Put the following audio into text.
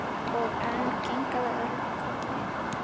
Og enn kinkaði Örn kolli.